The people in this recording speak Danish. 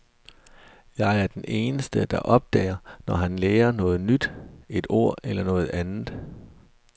Jeg er den eneste, der opdager, når han lærer noget nyt, et ord eller noget andet.